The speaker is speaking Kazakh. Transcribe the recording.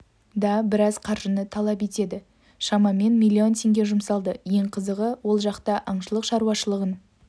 да біраз қаржыны талап етеді шамамен миллион теңге жұмсалды ең қызығы ол жақта аңшылық шаруашылығын